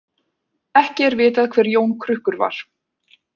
Ekki er vitað hver Jón krukkur var.